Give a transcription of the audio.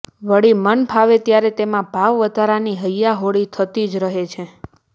વળી મનફાવે ત્યારે તેમાં ભાવવધારાની હૈયાહોળી થતી જ રહે છે